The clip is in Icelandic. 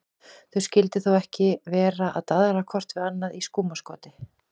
Þau skyldu þó ekki vera að daðra hvort við annað í skúmaskoti?